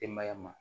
Denbaya ma